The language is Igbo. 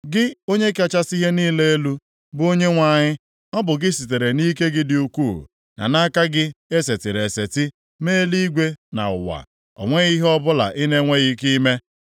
“Gị, Onye kachasị ihe niile elu, bụ Onyenwe anyị ọ bụ gị sitere nʼike gị dị ukwuu, na aka gị e setịrị eseti mee eluigwe na ụwa. O nweghị ihe ọbụla ị na-enweghị ike ime.